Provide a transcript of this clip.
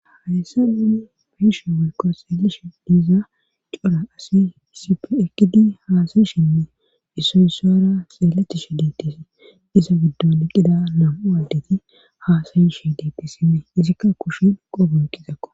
hayyssa nuni beyishe woykko xeelishe diiza cora asi issipe ekkidi haasayishinne issoy issora xeelettishe deettesi iza giddon eqqida nam'u addeti haasayishe deettes izikka kushin qobon qizakko